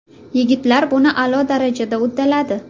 Yigitlar buni a’lo darajada uddaladi”.